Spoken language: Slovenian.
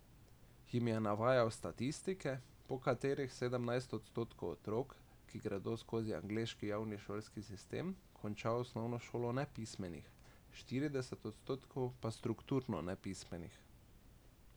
Jim je navajal statistike, po katerih sedemnajst odstotkov otrok, ki gredo skozi angleški javni šolski sistem konča osnovno šolo nepismenih, štirideset odstotkov pa strukturno nepismenih.